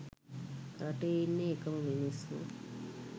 රටේ ඉන්නේ එකම මිනිස්සු.